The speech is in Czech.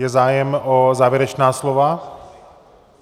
Je zájem o závěrečná slova?